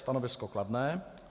Stanovisko kladné.